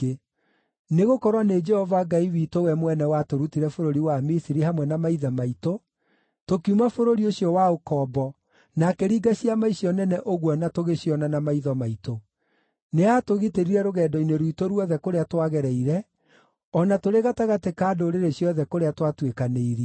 Nĩgũkorwo nĩ Jehova Ngai witũ we mwene watũrutire bũrũri wa Misiri hamwe na maithe maitũ, tũkiuma bũrũri ũcio wa ũkombo, na akĩringa ciama icio nene ũguo na tũgĩciona na maitho maitũ. Nĩaatũgitĩrire rũgendo-inĩ rwitũ ruothe kũrĩa twagereire, o na tũrĩ gatagatĩ ka ndũrĩrĩ ciothe kũrĩa twatuĩkanĩirie.